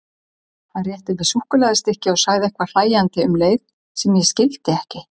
Hann rétti mér súkkulaðistykki og sagði eitthvað hlæjandi um leið sem ég skildi ekki.